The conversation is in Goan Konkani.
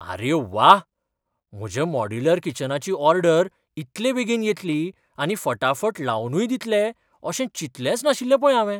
आरे व्वा! म्हज्या मॉड्यूलर किचनाची ऑर्डर इतले बेगीन येतली आनी फटाफट लावनूय दितले अशें चिंतलेंच नाशिल्लें पळय हावें.